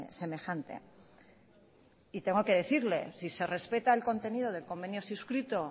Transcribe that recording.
semejante y tengo que decirle si se respeta el contenido del convenio suscrito